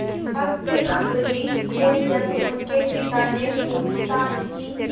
भक्त अम्बरीश से जब उनके पिता ने पूछताछ की